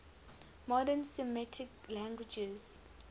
modern semitic languages